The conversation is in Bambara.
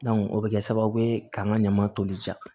o bɛ kɛ sababu ye k'an ka ɲaman toli ja